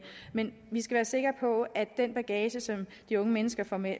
men vi skal være sikre på at den bagage som de unge mennesker får med